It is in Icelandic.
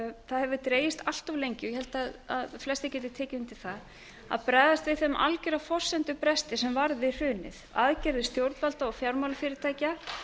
dregist allt of lengi og ég held að flestir geti tekið undir það að bregðast við þeim algjöra forsendubresti sem varð við hrunið aðgerðir stjórnvalda og fjármálafyrirtækja